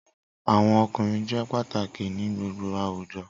Awọn ọkunrin jẹ pataki ni gbogbo awujọ